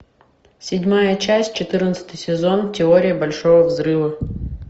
седьмая часть четырнадцатый сезон теория большого взрыва